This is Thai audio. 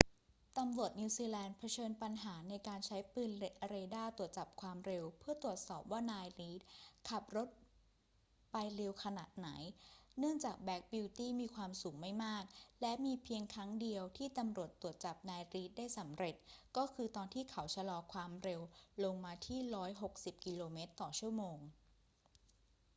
ตำรวจนิวซีแลนด์เผชิญปัญหาในการใช้ปืนเรดาร์ตรวจจับความเร็วเพื่อตรวจสอบว่านาย reid ขับรถไปเร็วขนาดไหน เนื่องจากแบล็กบิวตี้มีความสูงไม่มาก และมีเพียงครั้งเดียวที่ตำรวจตรวจจับนาย reid ได้สำเร็จ ก็คือตอนที่เขาชะลอความเร็วลงมาที่ 160 กม./ชม